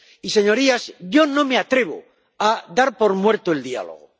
Y, señorías, yo no me atrevo a dar por muerto el diálogo.